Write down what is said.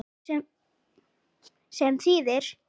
Sem þýðir